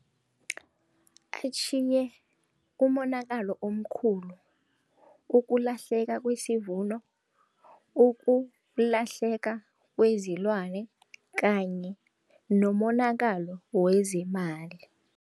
Atjhiye umonakalo omkhulu, ukulahleka kwesivumelano, ukulahleka kwezilwane kanye nomonakalo wezemali.